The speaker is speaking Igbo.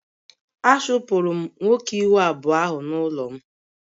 A chụpụrụ m nwoke ihu abụọ ahụ n'ụlọ m